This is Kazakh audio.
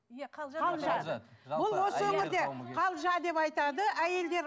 осы өңірде қалжа деп айтады әйелдер